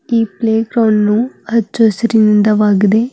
ಈ playground ಹಚ್ಚ ಹಸಿರಿಂದವಾಗಿದೆ.